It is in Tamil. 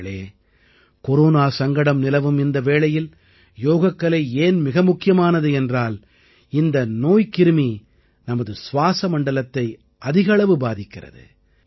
நண்பர்களே கொரோனா சங்கடம் நிலவும் இந்த வேளையில் யோகக்கலை ஏன் மிக முக்கியமானது என்றால் இந்த நோய்க்கிரும் நமது சுவாஸமண்டலத்தை அதிக அளவு பாதிக்கிறது